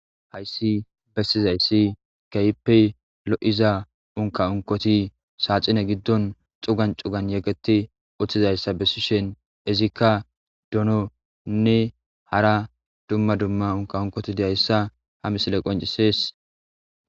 Hayssi bessizayssi keyppey lo'iza unka unkoti saaxine giddon xugan cugan yegeti uththizayssa bessishen izikka dononne hara dumma dumma unka unkoti diyayssa ha misile qoncisees.